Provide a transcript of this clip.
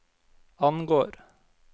angår